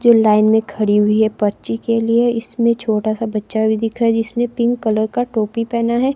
जो लाइन में खड़ी हुई है पर्ची के लिए इसमें छोटा सा बच्चा भी दिख रहा है जिसने पिंक कलर का टोपी पहना है।